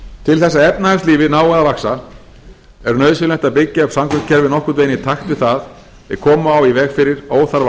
til þess að efnahagslífið nái að vaxa er nauðsynlegt að byggja upp samgöngukerfið nokkurn veginn í takt við það ef koma á í veg fyrir óþarfa